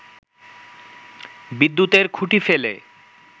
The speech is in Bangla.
বিদ্যুতের খুঁটি ফেলে